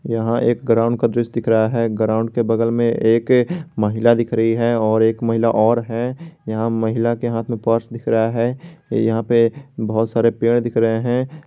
यहां एक ग्राउंड का दृश्य दिख रहा है के बगल में एक महिला दिख रही है और एक महिला और है यहां महिला के हाथ में पर्स दिख रहा है यहां पे बहुत सारे पेड़ दिख रहे हैं।